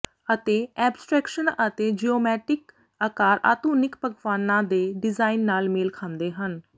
ਅਤੇ ਐਬਸਟਰੈਕਸ਼ਨ ਅਤੇ ਜਿਓਮੈਟਿਕ ਆਕਾਰ ਆਧੁਨਿਕ ਪਕਵਾਨਾਂ ਦੇ ਡਿਜ਼ਾਈਨ ਨਾਲ ਮੇਲ ਖਾਂਦੇ ਹਨ